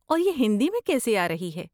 اور یہ ہندی میں کیسے آرہی ہے؟